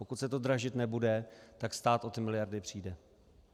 Pokud se to dražit nebude, tak stát o ty miliardy přijde.